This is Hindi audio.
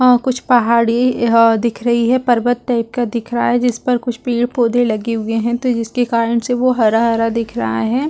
अ कुछ पहाड़ी ह दिख रही है पर्वत टाईप का दिख रहा है जिस पर कुछ पेड़ -पौधे लगे हुए है तो जिसके कारण से वो हरा- हरा दिख रहा हैं ।